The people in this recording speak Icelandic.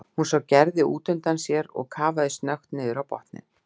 Hann sá Gerði útundan sér og kafaði snöggt niður á botninn.